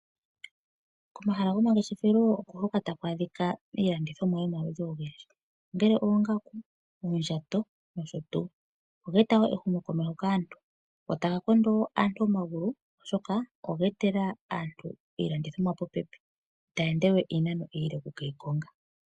Komahala gomangeshefelo oko hoka taku adhika aalandithomwa yomaludhi ogendji. Ongele oongaku, oondjato nosho tuu. Oga e ta ehumokomeho go taga kondo wo aantu omagulu oshoka oga e ta iilandithomwa popepi.